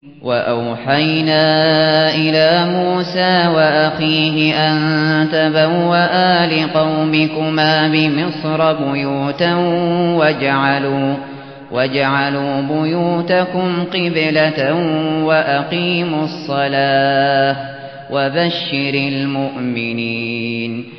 وَأَوْحَيْنَا إِلَىٰ مُوسَىٰ وَأَخِيهِ أَن تَبَوَّآ لِقَوْمِكُمَا بِمِصْرَ بُيُوتًا وَاجْعَلُوا بُيُوتَكُمْ قِبْلَةً وَأَقِيمُوا الصَّلَاةَ ۗ وَبَشِّرِ الْمُؤْمِنِينَ